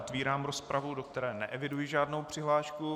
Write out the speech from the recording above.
Otvírám rozpravu, do které neeviduji žádnou přihlášku.